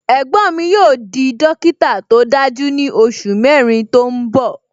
Ẹ̀gbọ́n mi yóò di dókítà tó dájú ní oṣù mẹrin tó ń bọ